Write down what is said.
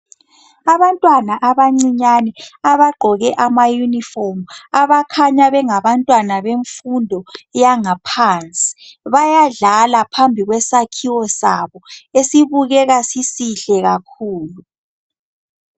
Abantwana abancinyane abagqoke amayunifomu abakhanya bengabantwana bemfundo yangaphansi bayadlala phambi kwesakhiwo sabo esibukeka sisihle kakhulu.